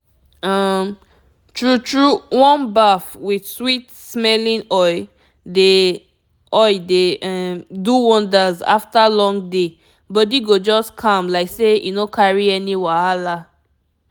um true true warm bath with sweet-smelling oil dey oil dey um do wonders after long day body go just calm like say e no carry any wahala.